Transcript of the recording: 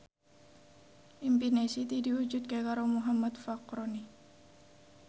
impine Siti diwujudke karo Muhammad Fachroni